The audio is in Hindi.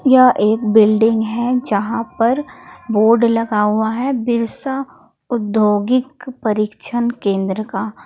यह एक बिल्डिंग है जहां पर बोर्ड लगा हुआ है बिरसा औद्योगिक परीक्षण केंद्र का।